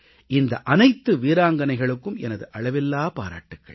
இந்த அனைத்து வீராங்கனைகளுக்கும் எனது அளவில்லா பாராட்டுக்கள்